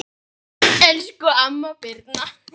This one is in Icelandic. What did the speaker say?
Elsku amma Birna.